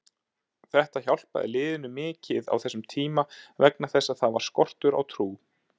Þetta hjálpaði liðinu mikið á þessum tíma vegna þess að það var skortur á trú.